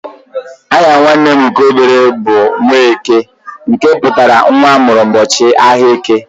Aha nwanne m nke obere bụ "Nwaeke" nke pụtara nwa amụrụ ụbọchị áhiá eke.